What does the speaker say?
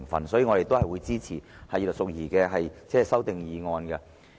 因此，我們會支持葉劉淑儀議員的修正案。